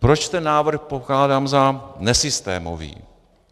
Proč ten návrh pokládám za nesystémový?